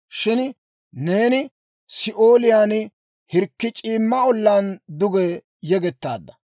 Shin neeni Si'ooliyaan, hirkki c'iimma ollaan duge yegettaadda.